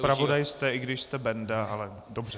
Zpravodaj jste, i když jste Benda, ale dobře.